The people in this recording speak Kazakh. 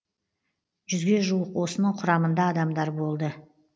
жүзге жуық осының құрамында адамдар болды